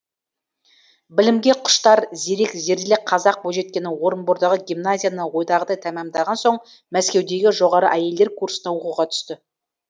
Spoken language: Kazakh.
білімге құштар зерек зерделі қазақ бойжеткені орынбордағы гимназияны ойдағыдай тәмәмдаған соң мәскеудегі жоғары әйелдер курсына оқуға түсті